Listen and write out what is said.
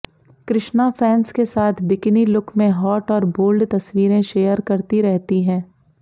Krishna fans के साथ bikini look में हॉट और बोल्ड तस्वीरें शेयर करती रहती है